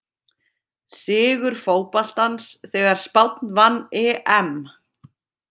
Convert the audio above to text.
Sigur fótboltans þegar Spánn vann EM!